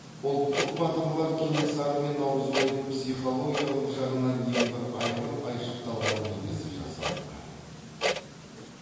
ұлттық батырлар кенесары мен наурызбайдың психологиялық жағынан ең бір айқын айшықталған бейнесі жасалынған